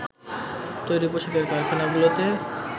তৈরি পোশাকের কারখানাগুলোতে